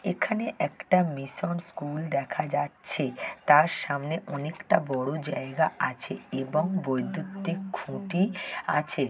এখানে একটা mission school দেখা যাচ্ছে। তার সামনে অনেকটা বড় জায়গা আছে এবং বৈদ্যুতিক খুঁটি আছে।